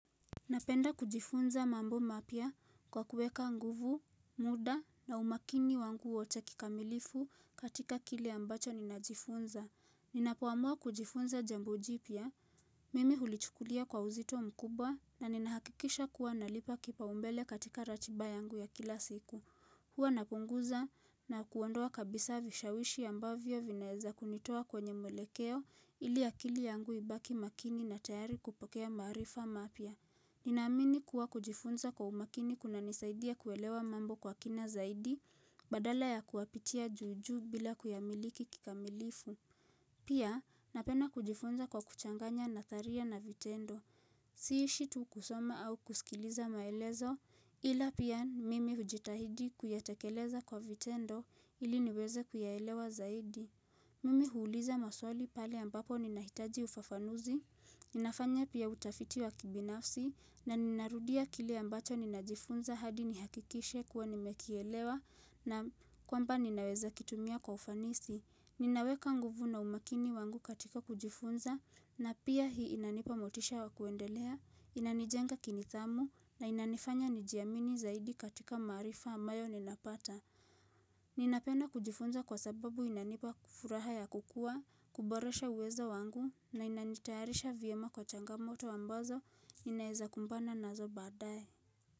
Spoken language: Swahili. Napenda kujifunza mambo mapya kwa kueka nguvu, muda na umakini wangu wote kikamilifu katika kile ambacho ninajifunza. Ninapoamua kujifunza jambo jipya, mimi hulichukulia kwa uzito mkubwa na ninahakikisha kuwa nalipa kipaumbele katika ratiba yangu ya kila siku. Hua napunguza na kuondoa kabisa vishawishi ambavyo vinaweza kunitowa kwenye mwelekeo ili akili yangu ibaki makini na tayari kupokea maarifa mapya. Ninamini kuwa kujifunza kwa umakini kunanisaidia kuelewa mambo kwa kina zaidi badala ya kuyapitia juujuu bila kuyamiliki kikamilifu. Pia napenda kujifunza kwa kuchanganya nadharia na vitendo Sihishi tu kusoma au kusikiliza maelezo Ila pia mimi hujitahidi kuyatekeleza kwa vitendo ili niweze kuyaelewa zaidi Mimi huuliza maswali pale ambapo ninahitaji ufafanuzi Ninafanya pia utafiti wa kibinafsi na ninarudia kile ambacho ninajifunza hadi nihakikishe kuwa nimekielewa na kwamba ninaweza kitumia kwa ufanisi Ninaweka nguvu na umakini wangu katika kujifunza na pia hii inanipa motisha wakuendelea, inanijenga kinidhamu na inanifanya nijiamini zaidi katika maarifa ambayo ninapata. Ninapenda kujifunza kwa sababu inanipa furaha ya kukua, kuboresha uwezo wangu na inanitayarisha vyema kwa changamoto ambazo ninaezakumbana nazo baadaye.